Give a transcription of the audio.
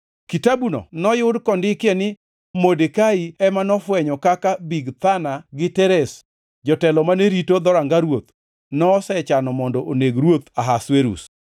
Kitabuno noyud kondikie ni Modekai ema nofwenyo kaka Bigthana gi Teresh, jotelo mane rito dhoranga ruoth, nosechano mondo oneg ruoth Ahasuerus.